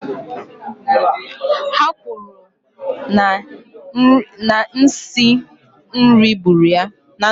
Ha kwuru na nsi nri gburu ya